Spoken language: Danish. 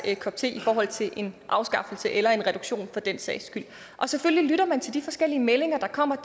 kop te i forhold til en afskaffelse eller en reduktion for den sags skyld og selvfølgelig lytter man til de forskellige meldinger der kommer